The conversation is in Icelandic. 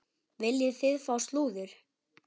Viljið þið fá slúður?